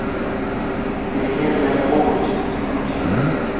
переменная облачность включи ка